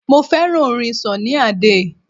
Mo fẹ́ràn orin Sunny Adé.